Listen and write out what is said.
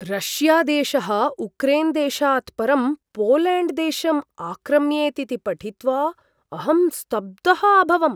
रष्यादेशः उक्रेन्देशात् परं पोलेण्ड्देशम् आक्राम्येत् इति पठित्वा अहं स्तब्धः अभवम्।